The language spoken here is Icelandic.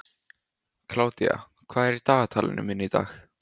Kládía, hvað er í dagatalinu mínu í dag?